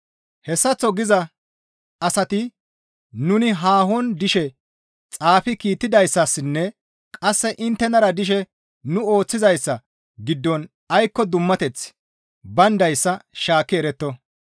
Hessaththo giza asati nuni haahon dishe xaafi kiittidayssassinne qasse inttenara dishe nu ooththizayssa giddon aykko dummateththi bayndayssa shaakki eretto.